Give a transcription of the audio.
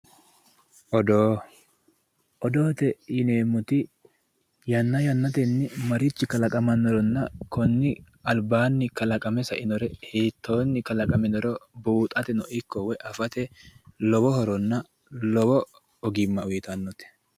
odoo odote yineemmoti yanna yannatenni marichi kalaqamannoronna konni albaanni kalaqame sainoronna hiittoonni kalaqaminoro buuxatenno ikko woy afate lowo horonna lowo ogimma uyitannote